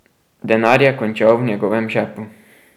Denar je končal v njegovem žepu.